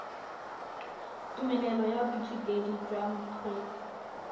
tumelelo ya boithutedi jwa bokgweetsi